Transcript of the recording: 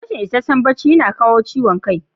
Rashin ishasshen bacci yana kawo ciwon kai.